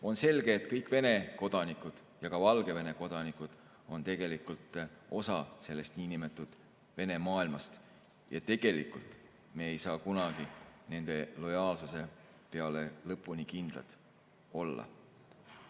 On selge, et kõik Vene kodanikud ja ka Valgevene kodanikud on osa sellest niinimetatud Vene maailmast ja me ei saa tegelikult kunagi nende lojaalsuse peale lõpuni kindlad olla.